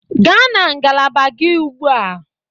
Gaa na ngalaba gị ugbu a.